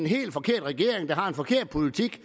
helt forkert regering der har en forkert politik